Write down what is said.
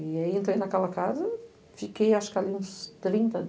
E aí entrei naquela casa e fiquei ali uns trinta